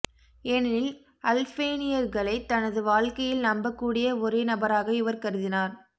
ஏனெனில் அல்பேனியர்களை தனது வாழ்க்கையில் நம்பக்கூடிய ஒரே நபராக இவர் கருதினார்